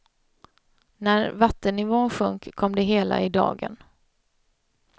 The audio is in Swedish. När vattennivån sjönk kom det hela i dagen.